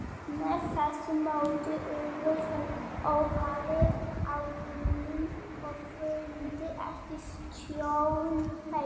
Með þessu móti urðu þeir óháðir ábótunum og þoldu ekki stjórn þeirra.